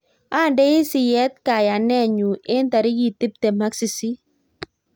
Andei siyet kayaneen nyu eng tarikit tiptem ak sisit